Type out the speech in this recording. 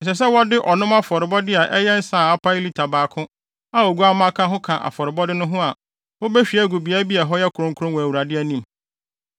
Ɛsɛ sɛ wɔde ɔnom afɔrebɔde a ɛyɛ nsa a apae lita baako a oguamma ka ho ka afɔrebɔde no ho a wobehwie agu beae bi a ɛhɔ yɛ kronkron wɔ Awurade anim.